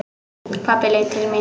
Pabbi leit til mín.